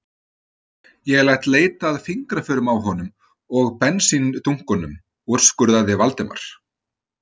Ég læt leita að fingraförum á honum og bensíndunkunum- úrskurðaði Valdimar.